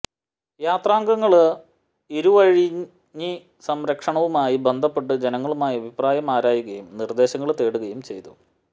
യാത്രാംഗങ്ങള് ഇരുവഴിഞ്ഞി സംരക്ഷണവുമായി ബന്ധപ്പെട്ടു ജനങ്ങളുമായി അഭിപ്രായം ആരായുകയും നിര്ദേശങ്ങള് തേടുകയും ചെയ്തു